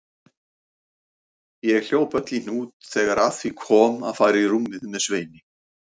Ég hljóp öll í hnút þegar að því kom að fara í rúmið með Sveini.